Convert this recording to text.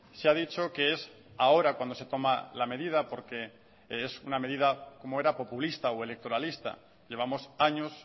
se ha dicho que es ahora cuando se toma la medida porque es una medida cómo era populista o electoralista llevamos años